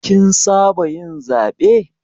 Kin saba yin zaɓe.